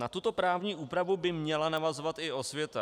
Na tuto právní úpravu by měla navazovat i osvěta.